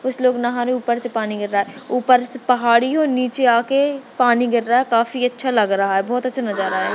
कुछ लोग नहा रहे है ऊपर से पानी गिर रहा है ऊपर से पहाड़ी और नीचे आके पानी गिर रहा है काफी अच्छा लग रहा है बहुत अच्छा नजारा है।